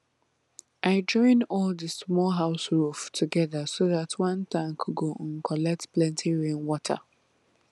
i join all the small house roof together so dat one tank go um collect plenty rainwater